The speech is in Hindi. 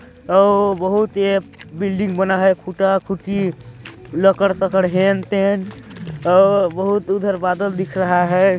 और बहुत ही बिल्डिंग बना है खुटा खुटी लकड़-सकड़ हेन-तेन और बहुत उधर बादल दिख रहा है।